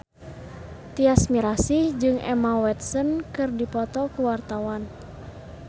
Tyas Mirasih jeung Emma Watson keur dipoto ku wartawan